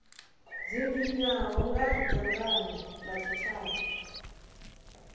dzinginywaho nga dzangano la tshitshavha